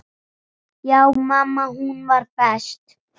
Já, mamma hún var best.